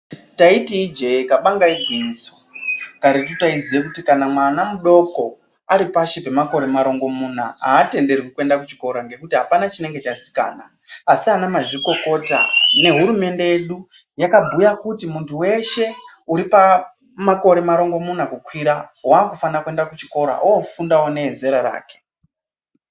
Taiti ijee kabanga igwinyiso. Karetu taiziye kuti kana mwana mudoko ari pashi pemakore marongomuna, aatenderwi kuenda kuchikora ngekuti apana chinenge chazikanwa. Asi anamazvikokota nehurumende yedu, yakabhuya kuti muntu weshe, uri pamakore marongomuna kukwira, waakufana kuenda kuchikora, oofundawo nevezera rake.